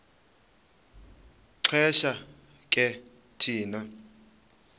xesha ke thina